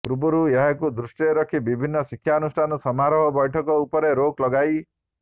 ପୂର୍ବରୁ ଏହାକୁ ଦୃଷ୍ଟିରେ ରଖି ବିଭିନ୍ନ ଶିକ୍ଷାନୁଷ୍ଠାନ ସମାରୋହ ବୈଠକ ଉପରେ ରୋକ ଲଗାଇ